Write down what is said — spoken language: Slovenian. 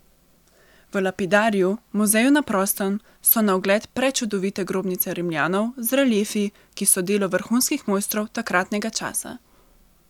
V lapidariju, muzeju na prostem, so na ogled prečudovite grobnice Rimljanov z reliefi, ki so delo vrhunskih mojstrov takratnega časa.